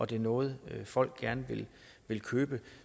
det er noget folk gerne vil købe